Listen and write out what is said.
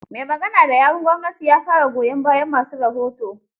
Mai magana da yawun gwamnatin ya fara goyon bayan ma su rahoto.